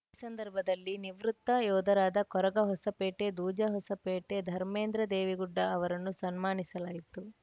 ಈ ಸಂದರ್ಭದಲ್ಲಿ ನಿವೃತ್ತ ಯೋಧರಾದ ಕೊರಗ ಹೋಸಪೇಟೆ ದೂಜ ಹೋಸಪೇಟೆ ಧರ್ಮೇಂದ್ರ ದೇವಿಗುಡ್ಡ ಅವರನ್ನು ಸನ್ಮಾನಿಸಲಾಯಿತು